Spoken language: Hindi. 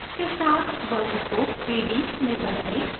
text के साथ वर्ग को 3d में बदलें